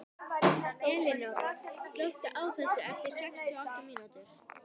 Elinóra, slökktu á þessu eftir sextíu og átta mínútur.